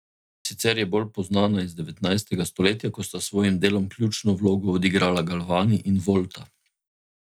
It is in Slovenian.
Sicer je bolj poznana iz devetnajstega stoletja, ko sta s svojim delom ključno vlogo odigrala Galvani in Volta.